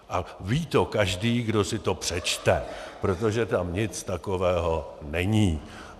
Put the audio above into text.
A ví to každý, kdo si to přečte, protože tam nic takového není.